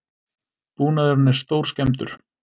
Búnaðurinn er stórskemmdur